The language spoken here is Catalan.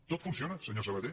tot funciona senyor sabaté